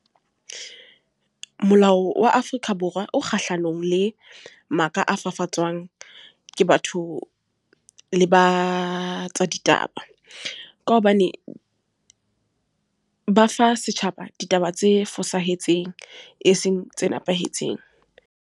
Molao wa Afrika Borwa o kgahlanong le maka a fafatswang ke batho le ba tsa ditaba. Ka hobane ba fa setjhaba ditaba tse fosahetseng, e seng tse nepahetseng.